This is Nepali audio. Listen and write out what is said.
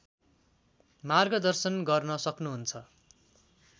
मार्गदर्शन गर्न सक्नुहुन्छ